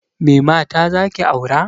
Me mata zaki aura?